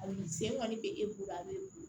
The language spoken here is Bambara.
A ni sen kɔni bɛ e bolo a bɛ bon